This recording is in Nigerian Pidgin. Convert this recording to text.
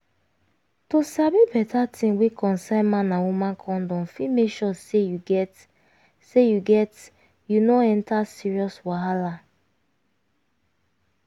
to sabi beta tin wey concern man and woman condom fit make sure say you get say you get you no enter serious wahala